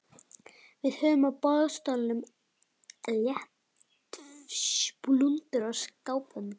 Við höfum á boðstólum léreftsblúndur og skábönd.